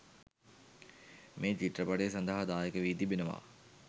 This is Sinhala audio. මේ චිත්‍රපටය සදහා දායක වි තිබෙනවා